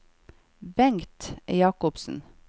Bengt Jacobsen